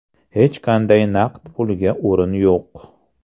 Hech qanday naqd pulga o‘rin yo‘q!